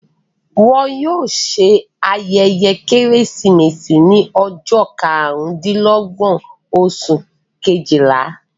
Wọn yóò ṣe ayẹyẹ Kérésìmesì ní ọjọ́ karùn-dín-lọ́gbọ̀n, oṣù Kejìlá.